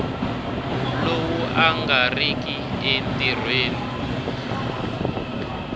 lowu a nga riki entirhweni